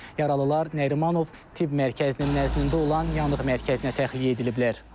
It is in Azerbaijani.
Yaralılar Nərimanov Tibb Mərkəzinin nəzdində olan Yanıq mərkəzinə təxliyə ediliblər.